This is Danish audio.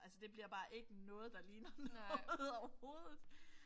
Altså det bliver bare ikke noget der ligner noget overhovedet